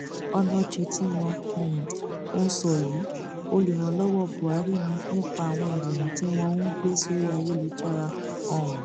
onoche tí wọn um ń sọ yìí olùrànlọwọ buhari ni nípa àwọn ìròyìn tí wọn ń gbé sórí ayélujára um